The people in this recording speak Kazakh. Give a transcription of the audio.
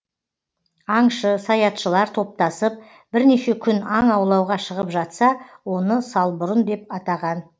аңшы саятшылар топтасып бірнеше күн аң аулауға шығып жатса оны салбұрын деп атаған